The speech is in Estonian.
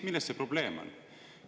Milles see probleem on?